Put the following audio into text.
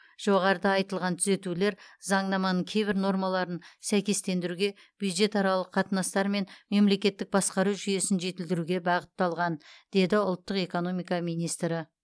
жоғарыда айтылған түзетулер заңнаманың кейбір нормаларын сәйкестендіруге бюджетаралық қатынастар мен мемлекеттік басқару жүйесін жетілдіруге бағытталған деді ұлттық экономика министрі